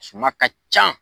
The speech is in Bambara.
Suman ka ca